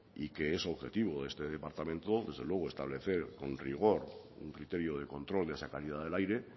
es objetivo de este departamento desde luego establecer con rigor un criterio de control de esa calidad del aire